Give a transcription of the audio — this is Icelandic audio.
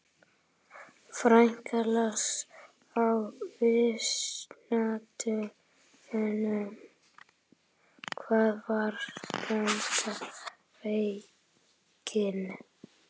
Frekara lesefni á Vísindavefnum: Hvað var spánska veikin?